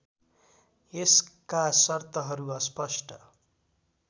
यसका सर्तहरू अस्पष्ट